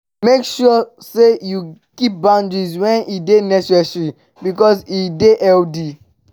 make sure say you keep boundaries when e de necessary because e de healthy